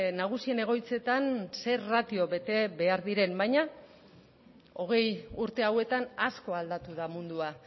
nagusien egoitzetan ze ratio bete behar diren baina hogei urte hauetan asko aldatu da mundua